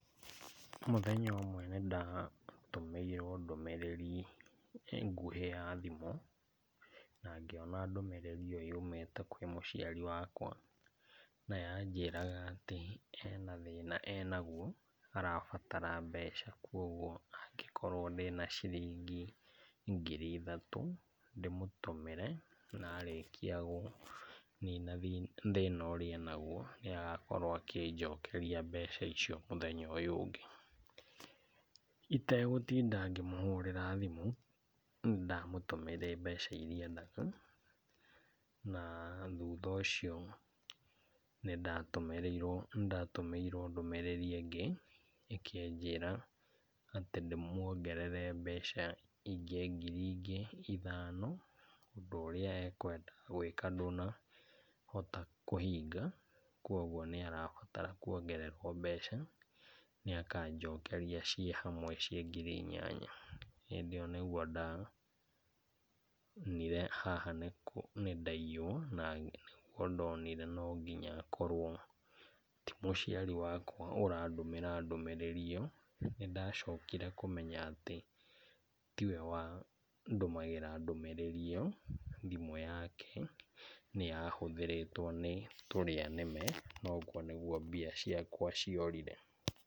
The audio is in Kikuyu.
Mũthenya ũmwe nĩndatũmĩirwo ndũmĩrĩri nguhĩ ya thimũ, na ngĩona ndũmĩrĩri ĩyo yumĩte kwĩ mũciari wakwa, na yanjĩraga atĩ hena thĩna enaguo arabatara mbeca kuoguo angĩkorwo ndĩna ciringi ngiri ithatũ ndĩmũtũmĩre na arĩkia kũnina thĩna ũrĩa enaguo nĩagakorwo akĩnjokeria mbeca icio mũthenya ũyũ ũngĩ. Itegũtinda ngĩmũhũrĩra thimũ nĩndamũtũmĩire mbeca iria endaga na thutha ũcio nĩndatũmĩrĩirwo nĩndatũmĩirwo ndũmĩrĩri ĩngĩ ĩkĩnjĩra atĩ ndĩmuongerere mbeca ingĩ ngiri ingĩ ithano ũndũ ũrĩa ekwendaga gwĩka ndũnahota kũhinga kuoguo nĩarabatara kuongererwo mbeca nĩakanjokeria ciĩ hamwe ciĩ ngiri inyanya. Hĩndĩ ĩyo nĩguo ndonire haha nĩndaiywo na nĩguo ndonire to nginya akorwo ti mũciari wakwa ũrandũmĩra ndũmĩrĩri ĩyo. Nĩndacokire kũmenya atĩ tiwe wandũmagĩra ndũmĩrĩri ĩyo thimũ yake nĩyahũthĩrĩtwo nĩ tũrĩa nĩme na ũguo nĩguo mbia ciakwa ciorire.